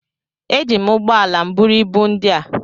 eji m ụgbọ ala m buru ibu ndị a